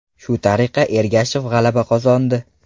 Shu tariqa Ergashev g‘alaba qozondi.